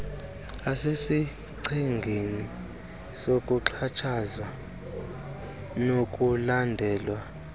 asesichengeni sokuxhatshazwa nokulandela